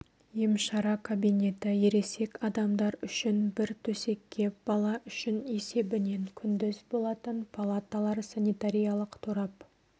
емшара кабинеті ересек адам үшін бір төсекке бала үшін есебінен күндіз болатын палаталар санитариялық торап